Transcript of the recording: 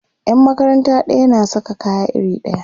Yan makaranta ɗaya na Saka kaya iri ɗaya